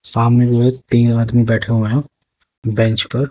सामने जो है तीन आदमी बैठे हुए हैं बेंच पर।